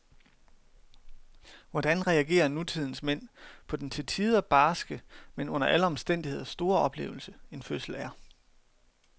Hvordan reagerer nutidens mænd på den til tider barske, men under alle omstændigheder store oplevelse, en fødsel er.